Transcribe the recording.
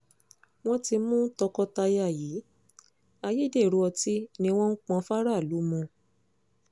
wọ́n ti mú tọkọ-taya yìí ayédèrú ọtí ni wọ́n ń pọ́n fáráàlú mu